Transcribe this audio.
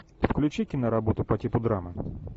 включи киноработу по типу драмы